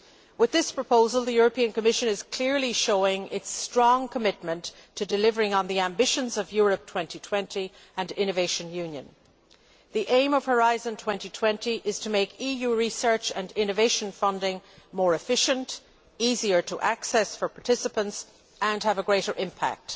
With this proposal the Commission is clearly showing its strong commitment to delivering on the ambitions of Europe 2020 and innovation union. The aim of Horizon 2020 is to make EU research and innovation funding more efficient, easier to access for participants and have a greater impact.